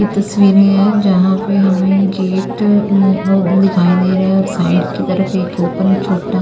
ई तस्वीरे हैं जहां पे हमें गेट आं व दिखाई दे रहा है और साइड के तरफ एक ओपन छोटा--